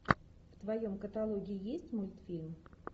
в твоем каталоге есть мультфильм